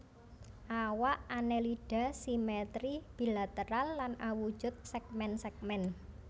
Awak Annelida simetri bilateral lan awujud sègmèn sègmèn